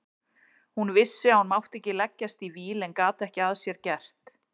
Hún vissi að hún mátti ekki leggjast í víl en gat ekki að sér gert.